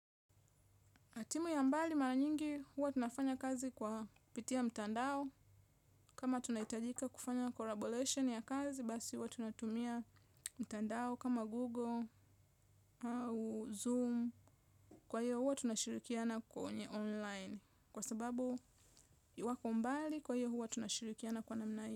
Timu ya mbali mara nyingi huwa tunafanya kazi kwa pitia mtandao kama tunahitajika kufanya colaboration ya kazi basi huwa tunatumia mtandao kama Google au Zoom kwa hiyo huwa tunashirikiana kwenye online kwa sababu wako mbali kwa hiyo huwa tunashirikiana kwa namna hiyo.